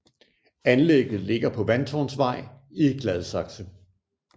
Anlægget ligger på Vandtårnsvej i Gladsaxe